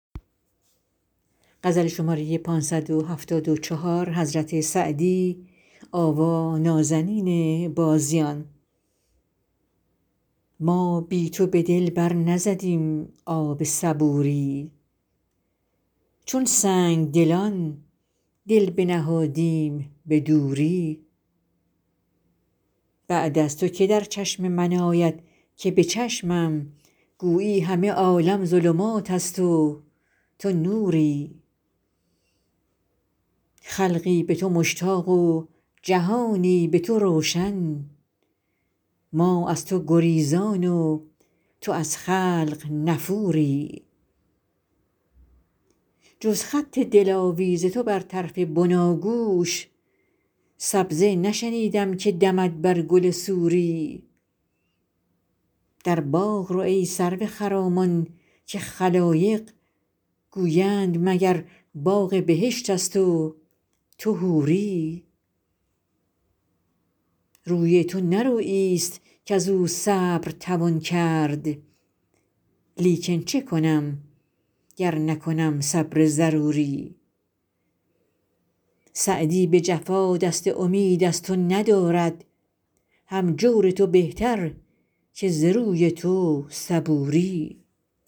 ما بی تو به دل بر نزدیم آب صبوری چون سنگدلان دل بنهادیم به دوری بعد از تو که در چشم من آید که به چشمم گویی همه عالم ظلمات است و تو نوری خلقی به تو مشتاق و جهانی به تو روشن ما در تو گریزان و تو از خلق نفوری جز خط دلاویز تو بر طرف بناگوش سبزه نشنیدم که دمد بر گل سوری در باغ رو ای سرو خرامان که خلایق گویند مگر باغ بهشت است و تو حوری روی تو نه روییست کز او صبر توان کرد لیکن چه کنم گر نکنم صبر ضروری سعدی به جفا دست امید از تو ندارد هم جور تو بهتر که ز روی تو صبوری